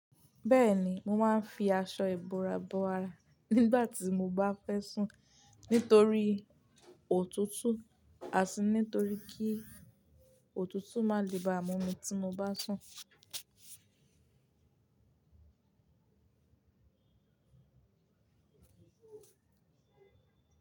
Bẹ́ẹ̀ni, mo máa ń fi aṣọ ìbora bọàrá nígbà tí mo bá fẹ́ sùn nitorí òtútù, àti nitorí kí òtútù má lè ba mú mi tí mo bá sùn.